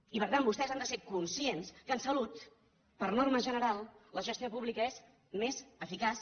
i per tant vostès han de ser conscients que en salut per norma general la gestió pública és més eficaç